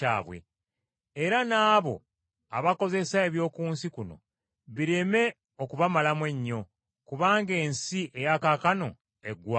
Era n’abo abakozesa eby’oku nsi kuno bireme okubamalamu ennyo, kubanga ensi eya kaakano eggwaawo.